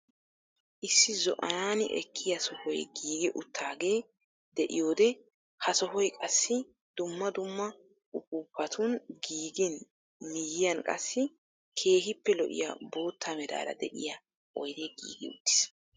Issi zo"anani ekkiyaa sohoy giigi uttagee de'iyoode ha sohoy qassi dumma dumma upuupatun giigin miyiyaan qassi keehiippe lo"iyaa bootta meraara de'iyaa oydee giigi uttiis.